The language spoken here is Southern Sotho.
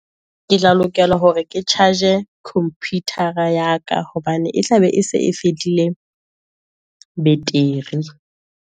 Ke tla lokela hore ke charge e computer-a ya ka, hobane e tla be e se e fedile beteri.